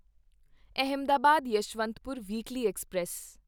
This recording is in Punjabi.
Ahmedabad Yesvantpur weekly express